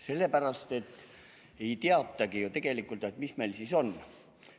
Sellepärast, et ei teatagi ju tegelikult, mis meil siis on.